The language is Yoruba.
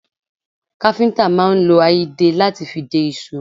Káfíntà máa ń lo a ìdè lati fi dè ìṣó